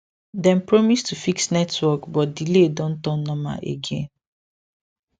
dem promise to fix network but delay don turn normal again